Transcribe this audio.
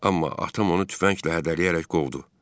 Amma atam onu tüfənglə hədələyərək qovdu.